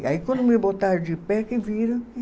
E aí, quando me botaram de pé, que viram